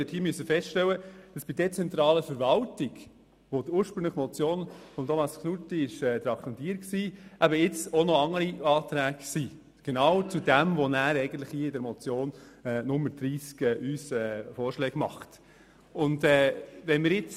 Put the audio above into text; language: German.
Dabei haben wir festgestellt, dass für die Debatte zur dezentralen Verwaltung, für welche die Motion von Grossrat Knutti ursprünglich traktandiert war, noch andere Anträge zum selben Thema vorgesehen sind.